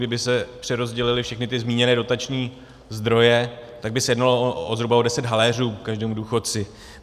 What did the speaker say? Kdyby se přerozdělily všechny ty zmíněné dotační zdroje, tak by se jednalo o zhruba deset haléřů každému důchodci.